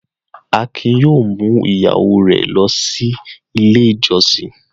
Akin yóò mú ìyàwó rẹ̀ lọ Ilé-ìjọsìn!